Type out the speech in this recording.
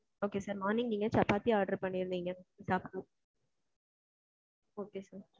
okay sir. Morning நீங்க chapati order பண்ணி இருந்தீங்க. order sir.